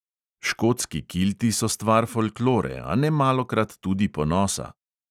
Škotski kilti so stvar folklore, a nemalokrat tudi ponosa.